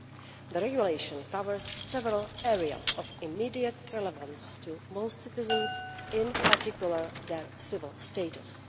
The regulation covers several areas of immediate relevance to most citizens, in particular their civil status.